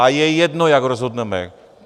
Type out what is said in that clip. A je jedno, jak rozhodneme.